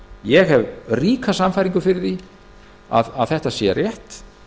ég hef ríka sannfæringu fyrir því að þetta sé rétt